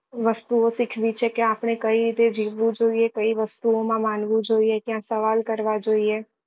વસ્તુઓ શીખવી છે કે આપડે કઈ રીતે જીવવું જોઈએ કઈ વસ્તુ ઓ માં માનવું જોઈએ ક્યાં સવાલ કરવા જોઈએ